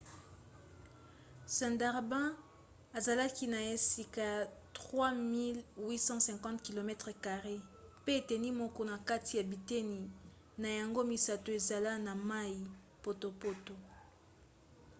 sundarbans ezalaki na esika ya 3 850 km² pe eteni moko na kati ya biteni na yango misato ezala na mai/potopoto